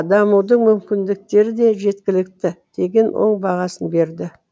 дамудың мүмкіндіктері де жеткілікті деген оң бағасын берді